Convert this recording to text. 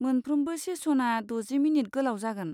मोनफ्रोमबो सेसना द'जि मिनिट गोलाव जागोन।